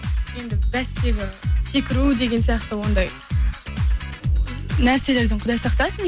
енді бәстегі секіру деген сияқты ондай нәрселерден құдай сақтасын